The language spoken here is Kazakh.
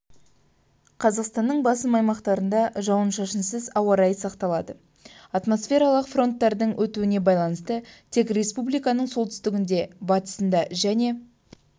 қазақстанның басым аймақтарында жауын-шашынсыз ауа райы сақталады атмосфералық фронттардың өтуіне байланысты тек республиканың солтүстігінде батысында және